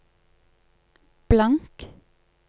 blank